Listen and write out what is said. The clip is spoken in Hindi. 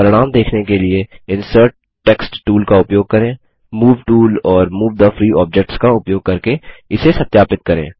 परिणाम दिखाने कि लिए इंसर्ट टेक्स्ट टूल का उपयोग करें मूव टूल और मूव थे फ्री ऑब्जेक्ट्स का उपयोग करके इसे सत्यापित करें